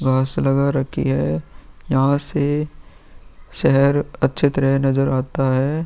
घास लगा रखी है यहाँ से शहर अच्छी तरह नजर आता है।